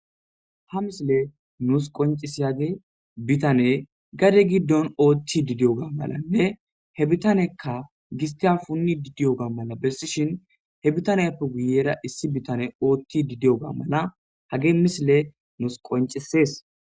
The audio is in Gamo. ha misile nuus qoncisiyagi bitane gade giddon ootti didiyo ga malanne he bitanekka gistian punni didiyo ga mala bessishin he bitaneyappe guyera issi bitane ootti didiyoga mala hage misile nuus qoncisees